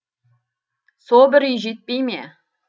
со бір үй жетпей ме